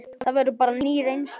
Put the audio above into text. Það verður þá bara ný reynsla.